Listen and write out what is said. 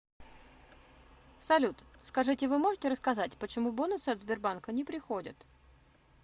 салют скажите вы можите рассказать почему бонусы от сбербанка не приходят